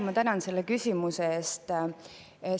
Ma tänan selle küsimuse eest!